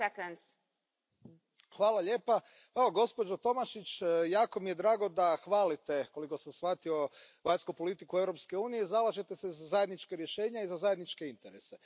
Poštovana predsjedavajuća, evo gospođo Tomašić jako mi je drago da hvalite, koliko sam shvatio, vanjsku politiku Europske unije i zalažete se za zajednička rješenja i za zajedničke interese.